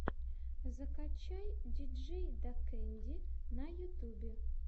закачай диджейдакэнди на ютьюбе